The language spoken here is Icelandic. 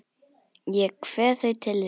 Ég kveð þau til þín.